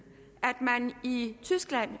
at man i tyskland